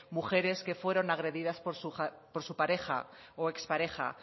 mujeres que fueron agredidas por su pareja o expareja